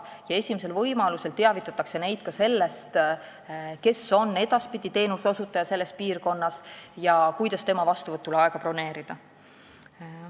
Esimesel võimalusel tuleb neid teavitada ka sellest, kes on edaspidi teenuseosutaja selles piirkonnas ja kuidas tema juurde vastuvõtuaega broneerida.